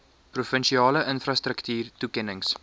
provinsiale infrastruktuur toekennings